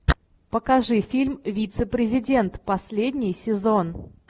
покажи фильм вице президент последний сезон